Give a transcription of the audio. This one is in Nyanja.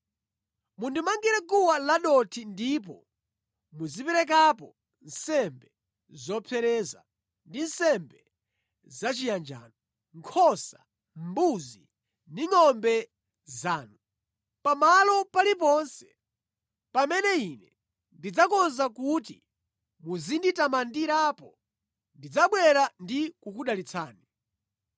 Mundimangire guwa ladothi ndipo muziperekapo nsembe zopsereza ndi nsembe zachiyanjano, nkhosa, mbuzi ndi ngʼombe zanu. Pamalo paliponse pamene Ine ndidzakonza kuti muzinditamandirapo, ndidzabwera ndi kukudalitsani.